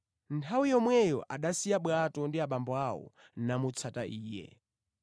Nthawi yomweyo anasiya bwato ndi abambo awo namutsata Iye.